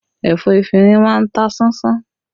Ẹ̀fọ́ efinrin máa ń ta ṣánṣán